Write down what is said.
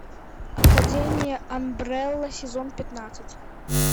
академия амбрелла сезон пятнадцать